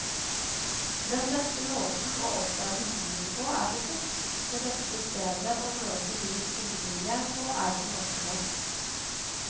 Den beste måten å oppdage byen på er til fots, det beste stedet å møte byens innbyggere på er på markedet.